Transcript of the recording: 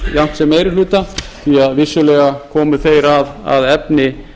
sem meiri hluta því vissulega komu þeir að efni